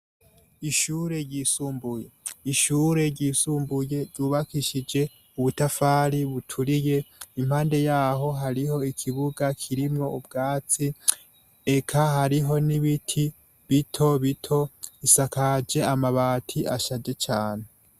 Ikigo c' ishure ry' isumbuye cubakishijwe n' amatafar' aturiye gisakajwe n' amabati, ikigo kiboneka ko cubatse k' umusozi hejuru, hasi har' ivyatsi bitotahaye hari n' ibiti vyinshi.